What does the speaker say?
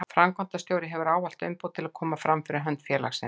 Framkvæmdastjóri hefur ávallt umboð til að koma fram fyrir hönd félagsins.